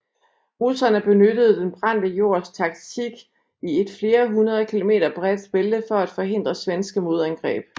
Russerne benyttede den brændte jords taktik i et flere hundrede kilometer bredt bælte for at forhindre svenske modangreb